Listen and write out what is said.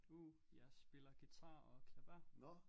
Uh jeg spiller guitar og klaver